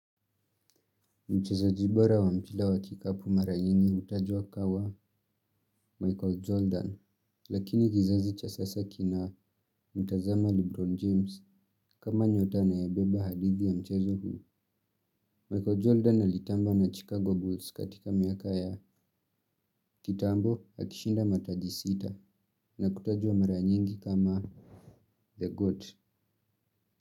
Mchezaji bora wa mchezo wa kikapu mara nyingi hutajwa kama Michael Jordan, lakini kizazi cha sasa kina mtazama Lebron James kama nyota na yabeba hadithi ya mchezo huu. Michael Jordan alitamba na Chicago Bulls katika miaka ya kitambo akishinda mataji sita na kutajwa mara nyingi kama The Goat.